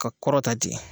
Ka kɔrɔ ta ten